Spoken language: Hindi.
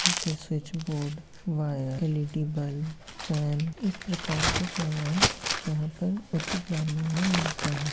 ऐसे switch board wire LED. Bulb fan इस प्रकार के सामान यहाँ पर उचित दामों में मिलते हैं।